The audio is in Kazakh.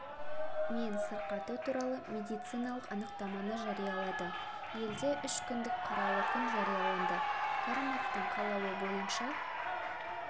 мен сырқаты туралы медициналық анықтаманы жариялады елде үш күндік қаралы күн жарияланды кәрімовтың қалауы бойынша